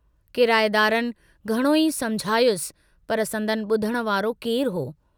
किराएदारनि घणोई समुझायुस पर संदनि बुधण वारो केरु हो।